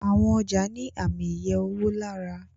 Àwọn ọjà ní Ààmì iye owó lára.